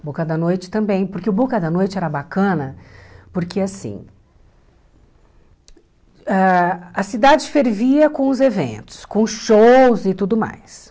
O Boca da Noite também, porque o Boca da Noite era bacana porque, assim, ãh a cidade fervia com os eventos, com os shows e tudo mais.